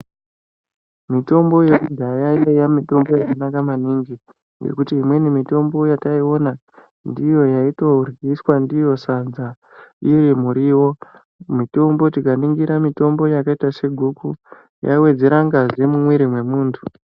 Mitombo yekudhaya yaiya mitombo yakanaka maningi. Ngekuti imweni mitombi yataiona ndiyo yaitoryiswa ndiyo sadza iri mirivo. Mitombo tikaningira mitombo yakaita seguku, yaiwedzera ngazi mumwiri memuntu.